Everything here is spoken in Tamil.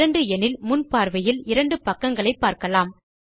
2 எனில் முன் பார்வையில் 2 பக்கங்களை பார்க்கலாம்